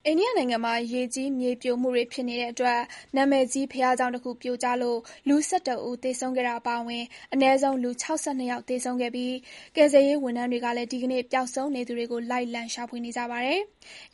ိန္ဒိယနိုင်ငံမှာ ရေကြီး မြေပြိုမှုတွေဖြစ်နေတဲ့အတွက် နာမည်ကြီး ဘုရားကျောင်းတခု ပြိုကျလို့ လူ ၁၁ ဦး သေဆုံးခဲ့တာအပါအဝင် အနည်းဆုံး လူ ၆၂ ယောက် သေဆုံးခဲ့ပြီး ကယ်ဆယ်ရေးဝန်ထမ်းတွေကလည်း ဒီကနေ့ ပျောက်ဆုံးနေသူတွေကို လိုက်လံ ရှာဖွေနေကြပါတယ်။